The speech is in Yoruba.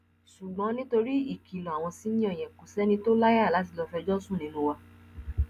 ṣùgbọn nítorí ìkìlọ àwọn ṣìnnìo yẹn kò sẹni tó láyà láti lọọ fẹjọ sùn nínú wa